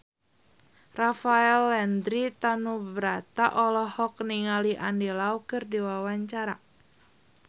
Rafael Landry Tanubrata olohok ningali Andy Lau keur diwawancara